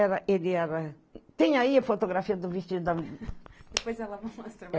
Era, ele era... Tem aí a fotografia do vestido da... Depois ela vai mostrar.